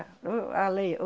O a lei, o